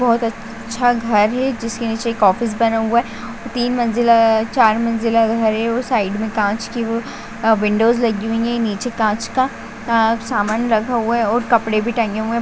बहुत अच्छा घर है जिसके नीचे एक ऑफिस बना हुआ है और तीन मंजिला चार मंजिला घर है और साइड में कांच की व विंडोज लगी हुई है नीचे कांच का आ सामान रखा हुआ है और कपड़े भी टंगे हुए --